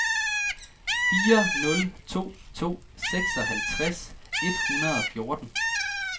fire nul to to seksoghalvtreds et hundrede og fjorten